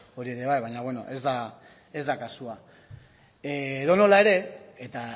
hori ere bai baina bueno ez da kasua edonola ere eta